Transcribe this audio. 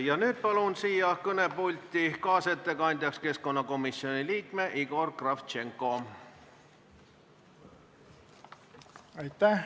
Ja nüüd palun siia kõnepulti kaasettekandjaks keskkonnakomisjoni liikme Igor Kravtšenko!